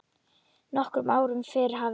Nokkrum árum fyrr hafði